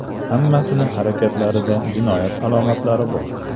Hammasini harakatlarida jinoyat alomatlari bor.